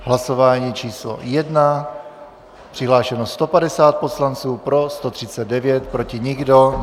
Hlasování číslo 1. Přihlášeno 150 poslanců, pro 139, proti nikdo.